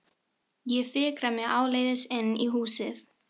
Ég fikra mig áleiðis inn í húsið.